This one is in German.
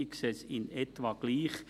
Ich sehe es in etwa gleich.